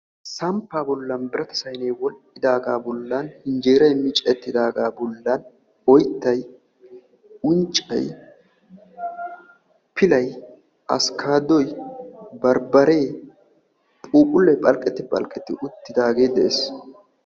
Samppaa bollan birata saynee wodhdhidaagaa bollan injeeray micettidagaa bollan oyttay unccay pilay asikaadoy barbaree phuuphullee phalqetti phalqetti uttidaagee de'ees.